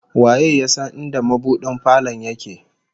Waye ya san inda mabudin falon yake?